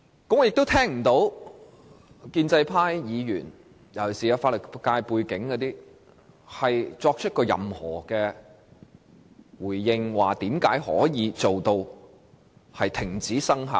我聽不到建制派尤其是有法律界背景的議員作出任何回應，說明如何令《公約》停止生效。